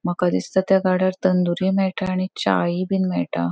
माका दिसता त्या गाड्यार तंदूरी मेळटा आणि चाइ बिन मेळटा.